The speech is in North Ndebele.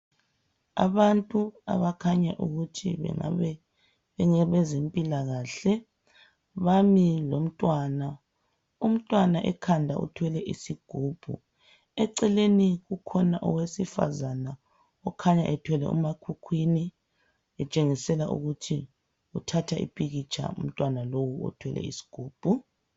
Abantu abakhanya bezempilakahle bami lomntwana umntwana ekhanda uthwele isigubhu eceleni kukhona owesifazana okhanya ethwele umakhukhwini etshengisela ukuthi uthatha impikitsha yomntwana lowo othwele isigubhu.